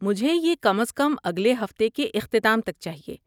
مجھے یہ کم از کم اگلے ہفتے کے اختتام تک چاہیے۔